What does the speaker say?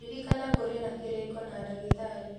Ririkana kũrĩ na kĩrĩko na ndagĩtarĩ